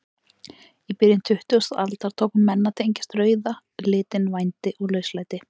Í byrjun tuttugustu aldar tóku menn að tengja rauða litinn vændi og lauslæti.